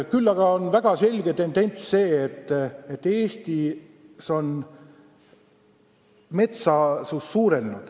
Küll on väga selge tendents see, et Eestis on metsasus suurenenud.